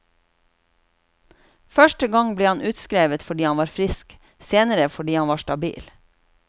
Første gang ble han utskrevet fordi han var frisk, senere fordi han var stabil.